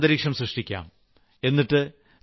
നമുക്കെല്ലാം ഈ ഒരു അന്തരീക്ഷം സൃഷ്ടിക്കാം